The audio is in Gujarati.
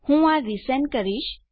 હું આ રીસેન્ડ કરીશ